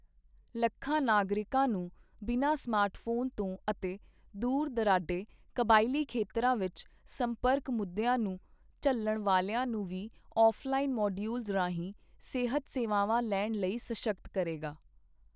ਲੱਖਾਂ ਨਾਗਰਿਕਾਂ ਨੂੰ ਬਿਨਾ ਸਮਾਰਟ ਫੋਨ ਤੋਂ ਅਤੇ ਦੂਰ ਦੁਰਾਡੇ ਕਬਾਇਲੀ ਖੇਤਰਾਂ ਵਿੱਚ ਸੰਪਰਕ ਮੁੱਦਿਆਂ ਨੂੰ ਝੱਲਣ ਵਾਲਿਆਂ ਨੂੰ ਵੀ ਔਫਲਾਈਨ ਮਡਿਊਲਜ਼ ਰਾਹੀਂ ਸਿਹਤ ਸੇਵਾਵਾਂ ਲੈਣ ਲਈ ਸਸ਼ੱਕਤ ਕਰੇਗਾ।